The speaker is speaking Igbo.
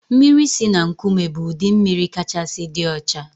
Mmiri si na nkụme bụ ụdị mmiri kachasị dị ọcha